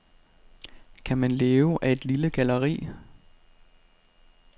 Kan man leve af et lille galleri?